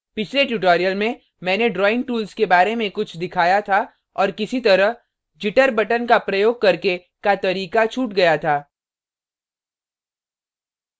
पिछले tutorial में मैंने drawing tools के बारे में कुछ दिखाया था और किसी तरह jitter button का प्रयोग करके का तरीका छूट गया था